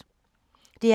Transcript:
DR P2